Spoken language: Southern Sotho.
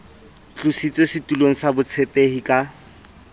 tlositswe setulong sa botshepehi ka